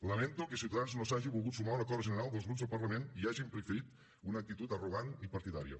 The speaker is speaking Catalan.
lamento que ciutadans no s’hagi volgut sumar a un acord general dels grups al parlament i hagin preferit una actitud arrogant i partidària